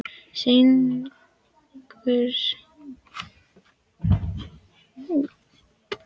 Sýningarsalurinn var stór með mörgum lausum bekkjum.